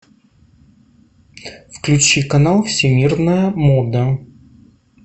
включи канал всемирная мода